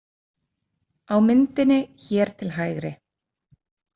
Á myndinni hér til hægri.